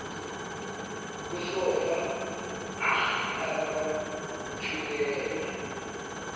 kusofa nahlala kwathuleka